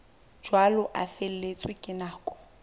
jwalo a feletswe ke nako